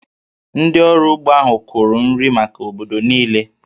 Ndị ọrụ ugbo ahụ kụrụ nri maka obodo niile